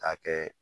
K'a kɛ